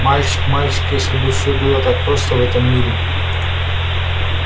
мальчик мальчик если бы всё было так просто в этом мире